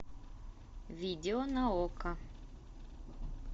видео на окко